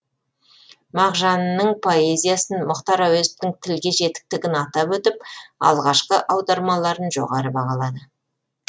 мағжанның поэзиясын мұхтар әуезовтің тілге жетіктігін атап өтіп алғашқы аудармаларын жоғары бағалады